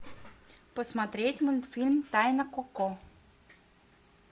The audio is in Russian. посмотреть мультфильм тайна коко